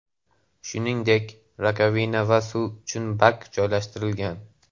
Shuningdek, rakovina va suv uchun bak joylashtirilgan.